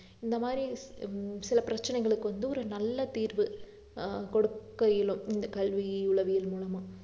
இந்த மாதிரி சில பிரச்சனைகளுக்கு வந்து ஒரு நல்ல தீர்வு ஆஹ் கொடுக்க இயலும் இந்த கல்வி உளவியல் மூலமா